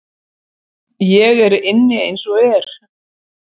Ég er inni eins og er.